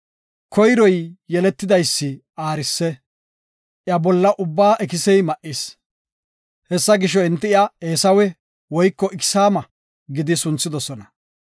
Koyro yeletidaysi aarise; iya bolla ubba ikisey ma7is; Hessa gisho, enti iya Eesawe (Iksaama) gidi sunthidosona.